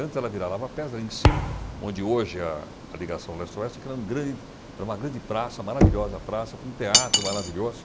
Antes ela virava a Lava Pés, ali em cima, onde hoje a a Ligação Leste-Oeste, que era grande, era uma grande praça, maravilhosa praça, com um teatro maravilhoso.